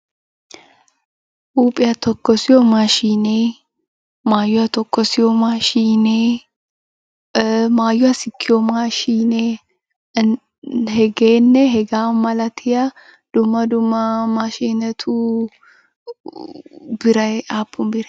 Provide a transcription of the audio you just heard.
Huuphiya tokkosiyo maashiinee, maayuwa tokkosiyo maashiinee, maayuwa sikkiyo maashiinee hegeenne hegaa malatiya dumma dumma maashinetu biray aapun biree?